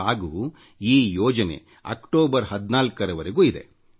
ಹಾಗೂ ಈ ಯೋಜನೆ ಅಕ್ಟೋಬರ್ 14ರ ವರೆಗೂ ಇದೆ